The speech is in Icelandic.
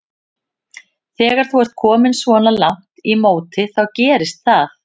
Þegar þú ert kominn svona langt í móti þá gerist það.